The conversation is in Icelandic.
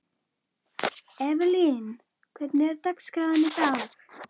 Evelyn, hvernig er dagskráin í dag?